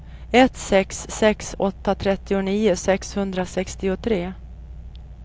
ett sex sex åtta trettionio sexhundrasextiotre